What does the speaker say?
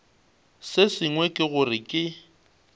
se sengwe ke gore ke